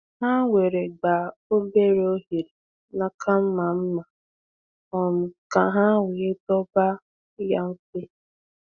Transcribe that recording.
Ha were gbaa obere oghere n’aka mma mma um ka ha wee dọba ya mfe.